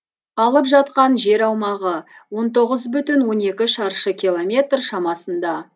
алып жатқан жер аумағы он тоғыз бүтін он екі шаршы километр шамасында